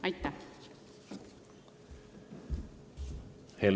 Aitäh!